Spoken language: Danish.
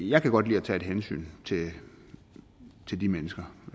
jeg kan godt lide at tage hensyn til til de mennesker